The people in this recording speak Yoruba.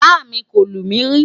bá mí kò lumi ri